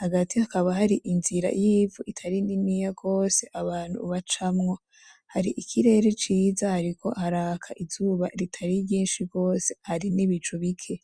hagati hakaba hari inzira itari niniya gose abantu bacamo hari ikirere ciza hariko haraka izuba ritari ryinshi gose hari n'ibicu bike.